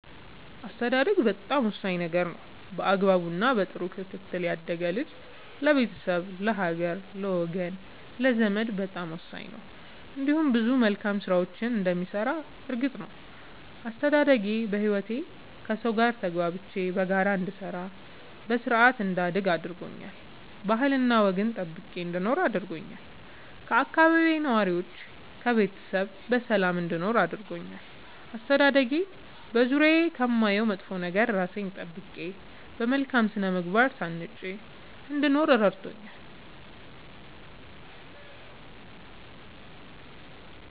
አስተዳደግ በጣም ወሳኝ ነገር ነው በአግባቡ እና በጥሩ ክትትል ያደገ ልጅ ለቤተሰብ ለሀገር ለወገን ለዘመድ በጣም ወሳኝ ነው እንዲሁም ብዙ መልካም ስራዎችን እንደሚሰራ እርግጥ ነው። አስተዳደጌ በህይወቴ ከሠው ጋር ተግባብቼ በጋራ እንድሰራ በስርአት እንዳድግ አድርጎኛል ባህልና ወግን ጠብቄ እንድኖር አድርጎኛል ከአካባቢዬ ነዋሪዎች ከቤተሰብ በሰላም እንድኖር አድርጎኛል። አስተዳደጌ በዙሪያዬ ከማየው መጥፎ ነገር እራሴን ጠብቄ በመልካም ስነ ምግባር ታንጬ እንድኖር እረድቶኛል።